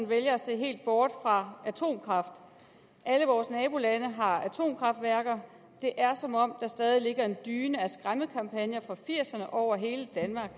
vælger at se helt bort fra atomkraft alle vores nabolande har atomkraftværker det er som om der stadig ligger en dyne af skræmmekampagner fra nitten firserne over hele danmark